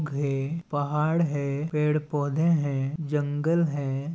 घे पहाड़ है पेड़-पौधे है जंगल हैं।